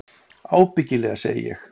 Ábyggilega, segi ég.